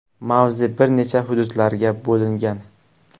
Mavze bir necha hududlarga bo‘lingan.